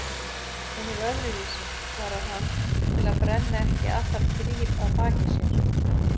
Hún er öðruvísi, svarar hann til að brenna ekki allar brýr að baki sér.